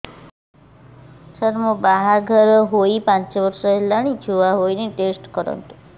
ସାର ମୋର ବାହାଘର ହେଇ ପାଞ୍ଚ ବର୍ଷ ହେଲାନି ଛୁଆ ହେଇନି ଟେଷ୍ଟ କରନ୍ତୁ